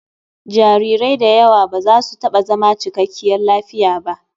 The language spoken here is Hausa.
Jarirai da yawa ba za su taɓa zama cikakkiyar lafiya ba.